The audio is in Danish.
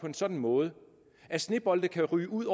en sådan måde at snebolde kan ryge ud